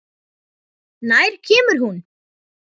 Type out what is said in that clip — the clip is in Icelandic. Nær kemur hún?